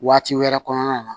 Waati wɛrɛ kɔnɔna na